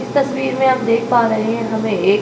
इस तस्वीर में हम देख पा रहें हैं हमे एक --